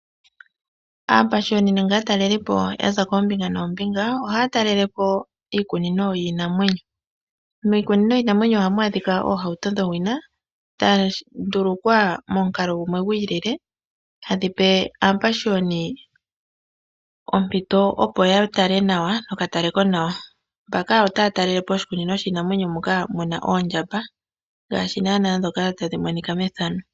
Aapashiyoni nenge aatalelipo ya za koombinga noombinga ohaya talela po iikinino yiinamwenyo. Miikunino yiinamwenyo ohamu adhika oohauto dhowina dha ndulukwa momukalo gumwe gwiilile hadhi pe aapashiyoni ompito opo ya tale nawa nokatale konawa. Mpaka otaya talele po oshikunino shiinamwenyo moka mu na oondjamba..